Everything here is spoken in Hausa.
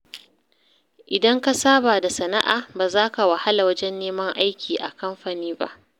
Idan ka saba da sana’a, ba za ka wahala wajen neman aiki a kamfani ba.